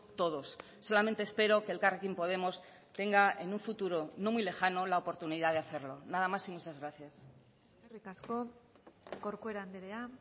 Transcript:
todos solamente espero que elkarrekin podemos tenga en un futuro no muy lejano la oportunidad de hacerlo nada más y muchas gracias eskerrik asko corcuera andrea